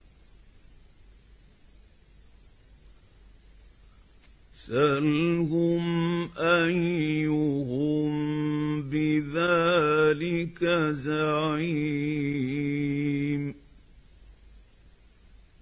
سَلْهُمْ أَيُّهُم بِذَٰلِكَ زَعِيمٌ